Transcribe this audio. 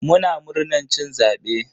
Muna murnan cin zabe.